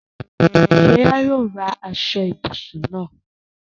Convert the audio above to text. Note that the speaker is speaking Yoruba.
Sọlá yóò ra aṣọ-ìbùsùn náà.